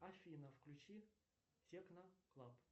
афина включи техно клаб